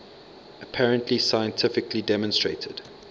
apparently scientifically demonstrated